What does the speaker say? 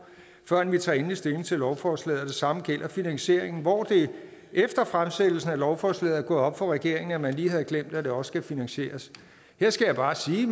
før vi tager endelig stilling til lovforslaget det samme gælder finansieringen hvor det efter fremsættelsen af lovforslaget op for regeringen at man lige havde glemt at det også skal finansieres her skal jeg bare sige